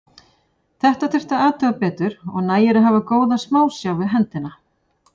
Þetta þyrfti að athuga betur og nægir að hafa góða smásjá við hendina.